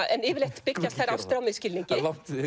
en yfirleitt byggjast þær ástir á misskilningi